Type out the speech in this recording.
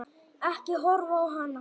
Ekki horfa á hana!